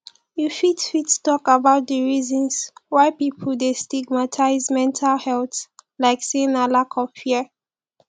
you fit fit talk about di reasons why people dey stigmatize mental health like say na lack of fear